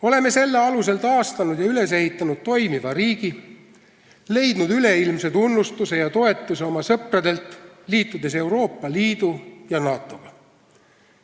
Oleme selle alusel taastanud ja üles ehitanud toimiva riigi ning leidnud üleilmse tunnustuse ja toetuse oma sõpradelt, liitudes Euroopa Liidu ja NATO-ga.